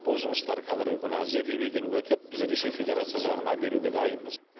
бұл жұмыстар қазіргі күні зерделеуден өтіп біз ресей федерация жағына беруге дайынбыз